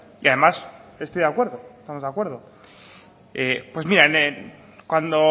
y además estoy de acuerdo estamos de acuerdo pues mire cuando